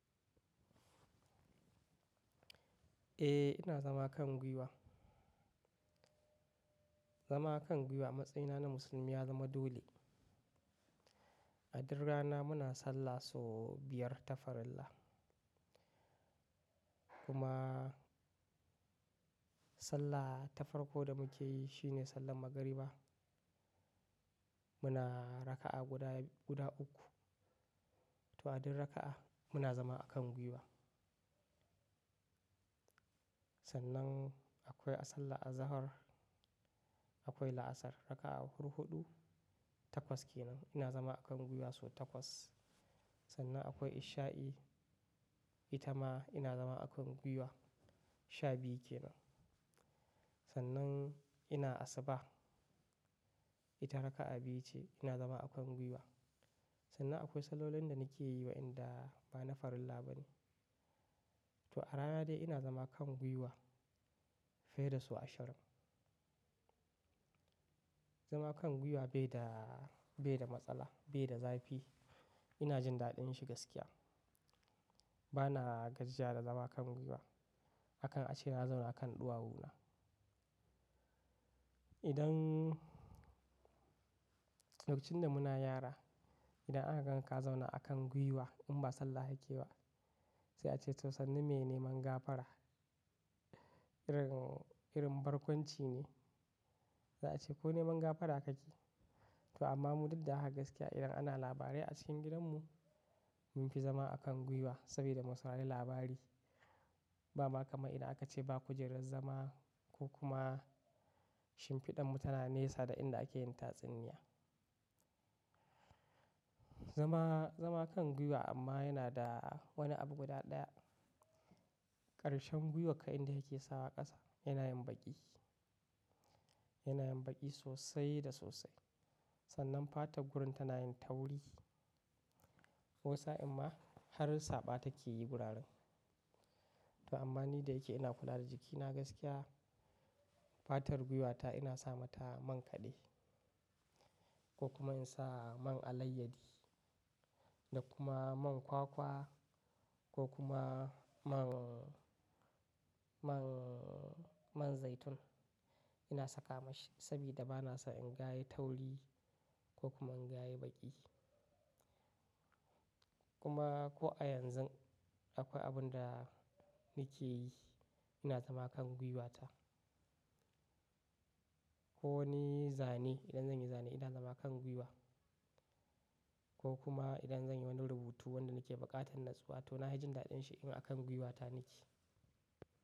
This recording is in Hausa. Eh, ina zama kan gwiwa. Zama kan gwiwa a matsayina na musulmi ya zama dole. A duk rana muna sallah sau biyar ta farilla. Kuma sallah ta farko da muke yi shi ne sallan magariba. Muna raka'a guda uku. To a duk raka'a muna zama a kan gwiwa. Sannan akwai a sallah azahar akwai la'asar raka'a hurhudu takwas kenan ina zama a kan gwiwa sau takwas. Sannan akwai isha'i ita ma ina zama a kan gwiwa sha biyu kenan. Sannan ina asuba ita raka'a biyu ce ina zama a kan gwiwa. Sannan akwai sallolin da nake yi wa inda ba na farilla ba ne. To a rana dai ina zama kan gwiwa fiye da sau ashirin. Zama kan gwiwa bai da matsala bai da zafi. Ina jin daɗin shi gaskiya. Bana gajiya da zama kan gwiwa. Akan a ce na zauna a kan ɗuwawuna. Lokacin da muna yara idan aka ganka ka zauna a kan gwiwa in ba sallah ake ba sai a ce to sannu me neman gafara irin barkwanci ne. Za'a ce ko neman gafara kake yi? To amma mu duk da haka gaskiya idan ana labarai a cikin gidanmu mun fi zama a kan gwiwa saboda mu saurari labari. Ba ma kaman idan aka ce ba kujerar zama ko kuma shimfiɗan mu tana nesa da inda ake yin tatsuniya. Zama kan gwiwa amma yana da wani abu guda ɗaya. Karshen gwiwarka inda yake sawa ƙasa yana yin baƙi sosai da sosai. Sannan fatar gurin tana yin tauri wani sa'in ma har saɓa take yi guraren. To amma ni da yake ina kula da jikina gaskiya fatar gwiwata ina sa mata man kaɗe ko kuma in sa man alayyadi da kuma man kwakwa ko kuma man zaitun ina saka ma shi saboda ba na son in ga yayi tauri ko kuma in gayi baƙi. Kuma ko a yanzu akwai abun da nake yi ina zama kan gwiwata. Ko wani zane idan zan yi zane ina zama kan gwiwa ko kuma idan zan yi wani rubutu wanda nake buƙatar natsuwa to na yi jin daɗin shi in a kan gwiwata nake.